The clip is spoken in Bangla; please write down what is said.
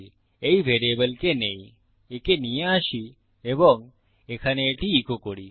এই ভ্যারিয়েবলকে নেইএকে নিয়ে আসি এবং এখানে এটি ইকো করি